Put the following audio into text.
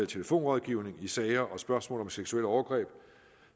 telefonrådgivning i sager og spørgsmål om seksuelle overgreb